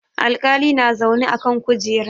Alƙali na zaune a kan kujera.